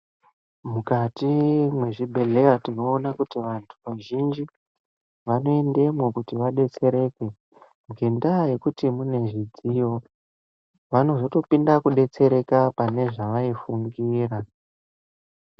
Mukati mezvibhehlera, tinoona kuti vantu vazhinji vanoendemo kuti abetsereke nendaa yekuti mune zvidziyo vanozopinde kubetsereka pane zvavaifungira.